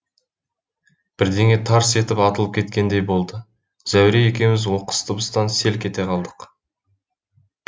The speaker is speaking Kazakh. бірдеңе тарс етіп атылып кеткендей болды зәуре екеуміз оқыс дыбыстан селк ете қалдық